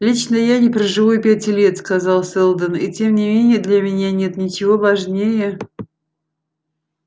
лично я не проживу и пяти лет сказал сэлдон и тем не менее для меня нет ничего важнее